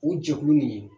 O jɛkulu nin